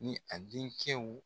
Ni a den cɛw